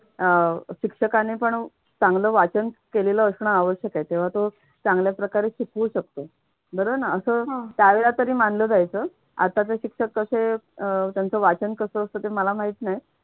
अह शिक्षकाने पण चांगलं वाचन केलेलं असणं आवश्यक आहे तेव्हा तो चांगल्याप्रकारे शिकवू शकतो. बरोबर ना. असं त्या वेळेला तरी मानलं जायचं. आताचे शिक्षक कसे? अह त्यांचं वाचन कसं असतं ते मला माहित नाही.